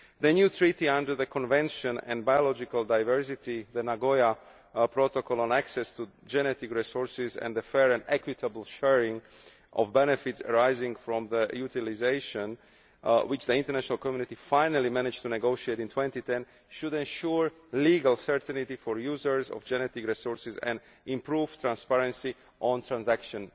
The new treaty under the Convention on Biological Diversity, the Nagoya Protocol on access to genetic resources and a fair and equitable sharing of benefits arising from their utilisation, which the international community finally managed to negotiate in 2010, should ensure legal certainty for users of genetic resources and improve transparency on transactions